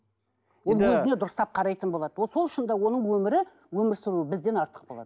ол өзіне дұрыстап қарайтын болады вот сол үшін де оның өмірі өмір сүруі бізден артық болады